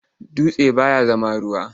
Dutse baya zama ruwa.